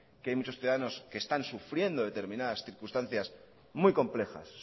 que hay muchos ciudadanos que están sufriendo determinadas circunstancias muy complejas